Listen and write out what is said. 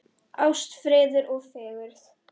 Ást, friður og fegurð.